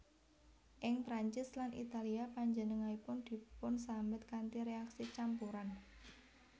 Ing Prancis lan Italia panjenenganipun dipunsambet kanthi réaksi campuran